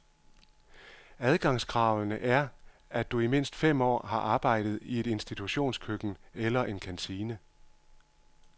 Adgangskravene er, at du i mindst fem år har arbejdet i et institutionskøkken eller en kantine.